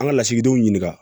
An ka lasigidenw ɲininka